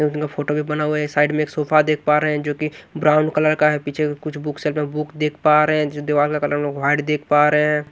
Photo भी बना हुआ है साइड में एक सोफा देख पा रहे हैं जो कि ब्राउन कलर का है पीछे कुछ बुक स में बुक देख पा रहे हैं दीवार का कलर हम लोग वाइ देख पा रहे हैं।